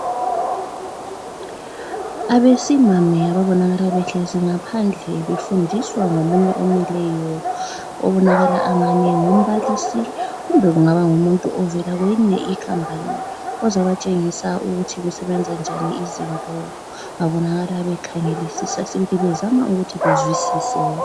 Abesimame ababonakala behlezi ngaphandle befundiswa ngomunye omileyo obonakala angani ngumbalisi kumbe kungaba ngumuntu ovela kwenye I company ozobatshengisa ukuthi kusebenza njani izinto babonakala bekhangelisisa sibili bezama ukuthi bezwisise